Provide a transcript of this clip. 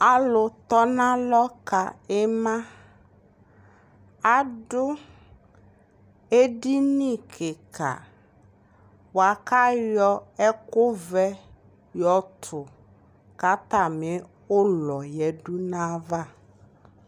Alu tɔnalɔ ka imaa adu edini kiika bua kayɔ ɛkuu vɛ yɔtu katami ulɔ yadu naava